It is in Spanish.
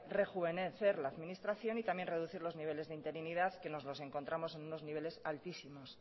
rejuvenecer la administración y también reducir los niveles de interinidad que nos los encontramos en unos niveles altísimos